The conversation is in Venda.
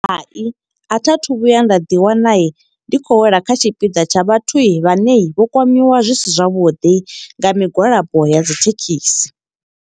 Hai a tha thu vhuya nda ḓi wana, ndi khou wela kha tshipiḓa tsha vhathu vhane vho kwamiwa zwi si zwavhuḓi nga migwalabo ya dzithekhisi.